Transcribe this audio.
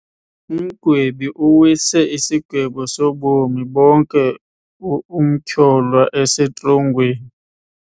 Umgwebi uwise isigwebo sobomi bonke umtyholwa esetrongweni.